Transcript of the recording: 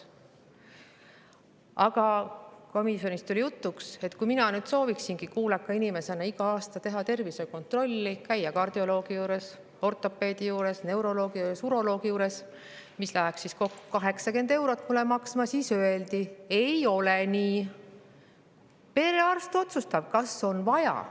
Aga komisjonis tuli jutuks, et kui mina sooviksingi kuuleka inimesena iga aasta teha tervisekontrolli, käia kardioloogi juures, ortopeedi juures, neuroloogi juures, uroloogi juures, mis läheks mulle kokku 80 eurot maksma, siis öeldi, et ei nii, hoopis perearst otsustab, kas on vaja.